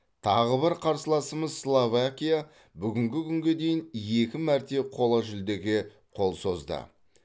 тағы бір қарсыласымыз словакия бүгінгі күнге дейін екі мәрте қола жүлдеге қол созды